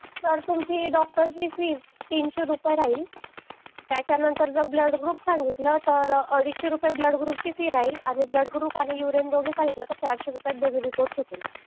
sir तुमची doctor ची fees तीनशे रुपये राहील त्याच्यानंतर जर ब्लड ग्रुप सांगितलं तर अडीशे रुपये ब्लड ग्रुप ची फीस राहील आणि ब्लड ग्रुप आणि युरीन दोन्ही सांगितलं तर चारशे रुपयात दोन्ही रिपोर्ट होतील